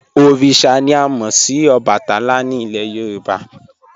Oríṣà ni à mo sì Òbàtálá ni ilẹ̀ Yorùbá."